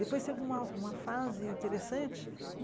Depois teve uma uma fase interessante.